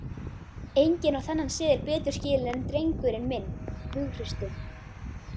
Enginn á þennan seðil betur skilinn en drengurinn minn hughrausti.